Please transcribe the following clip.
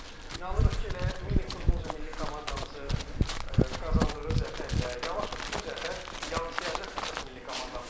İnanırıq ki, elə mini futbol üzrə milli komandamızın qazandığı zəfərlə yavaş-yavaş bu zəfər yansıyacaq əsas milli komandamıza.